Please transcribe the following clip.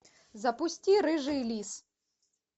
запусти рыжий лис